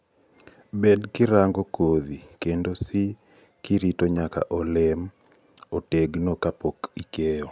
bed kirangokodhi kendo si kirito nyaka olemo otegno kapok okeyo